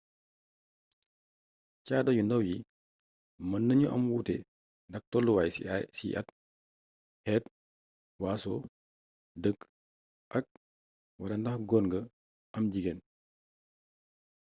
caada yu ndaw yi mën nañu am ay wuute ndax tolluwaay ciy at xeet waaso dëkk ak/wala ndax góor nga am jigéen